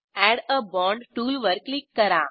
add a bond टूलवर click करा